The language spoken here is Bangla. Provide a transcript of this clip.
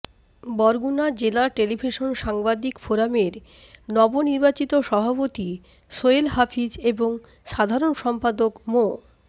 বরগুনা জেলা টেলিভিশন সাংবাদিক ফোরামের নবনির্বাচিত সভাপতি সোহেল হাফিজ এবং সাধারণ সম্পাদক মো